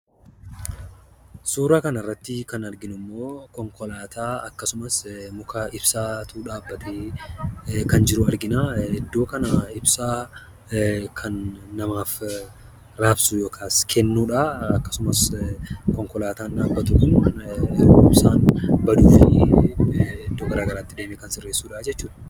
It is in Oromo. Suuraa kanarratti kan arginummoo konkolaataa akkasumas muka ibsaatu dhaabbatee kan jiru argina. Ibsaa kan namaaf raabsudha. Akkasumas konkolaataan dhaabbatu kun yemmuu ibsaan badu iddoo garagaraatti deemee kan sirreessuudha jechuudha.